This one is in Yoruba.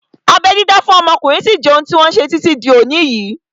Abẹ́ dídá fún ọmọkùnrin sí jẹ́ ohun tí wọ́n ṣe títí di òní yìí